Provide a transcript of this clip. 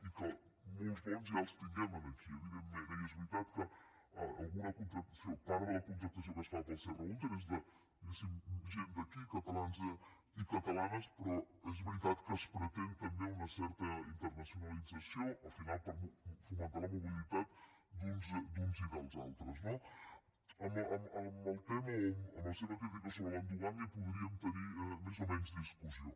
i que molts bons ja els tinguem aquí evidentment eh i és veritat que alguna contractació part de la contractació que es fa pel serra húnter és de diguéssim gent d’aquí catalans i catalanes però és veritat que es pretén també una certa internacionalització al final per fomentar la mobilitat d’uns i dels altres no amb el tema o amb la seva crítica sobre l’endogàmia podríem tenir més o menys discussió